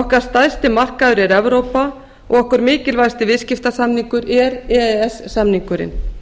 okkar stærsti markaður er evrópa og okkar mikilvægasti viðskiptasamningur er e e s samningurinn